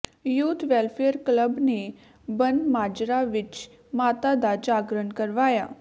youth welfare club ਨੇ ਬੰਨਮਾਜਰਾ ਵਿੱਚ ਮਾਤਾ ਦਾ ਜਾਗਰਣ ਕਰਵਾਇਆ